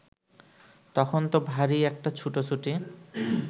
তখন ত ভারি একটা ছুটোছুটি